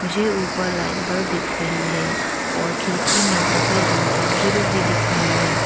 मुझे ऊपर light bulb दिख रही है और खिड़की में सफेद रंग की ग्रिल भी दिख रही है।